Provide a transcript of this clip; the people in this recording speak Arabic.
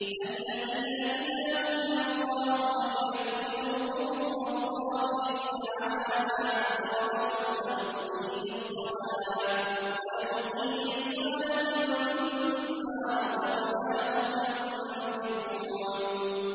الَّذِينَ إِذَا ذُكِرَ اللَّهُ وَجِلَتْ قُلُوبُهُمْ وَالصَّابِرِينَ عَلَىٰ مَا أَصَابَهُمْ وَالْمُقِيمِي الصَّلَاةِ وَمِمَّا رَزَقْنَاهُمْ يُنفِقُونَ